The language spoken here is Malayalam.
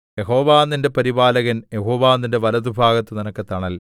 യഹോവ നിന്റെ പരിപാലകൻ യഹോവ നിന്റെ വലത്തുഭാഗത്ത് നിനക്ക് തണൽ